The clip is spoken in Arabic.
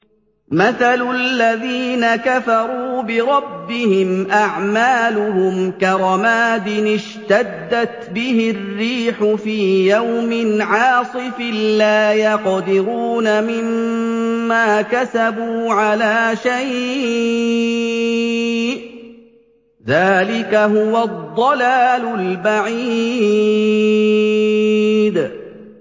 مَّثَلُ الَّذِينَ كَفَرُوا بِرَبِّهِمْ ۖ أَعْمَالُهُمْ كَرَمَادٍ اشْتَدَّتْ بِهِ الرِّيحُ فِي يَوْمٍ عَاصِفٍ ۖ لَّا يَقْدِرُونَ مِمَّا كَسَبُوا عَلَىٰ شَيْءٍ ۚ ذَٰلِكَ هُوَ الضَّلَالُ الْبَعِيدُ